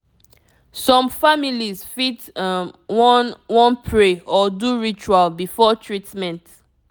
some families fit um wan wan pray or do ritual before treatment